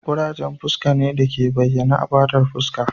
ƙurajen fuska ne da ke bayyana a fatar fuska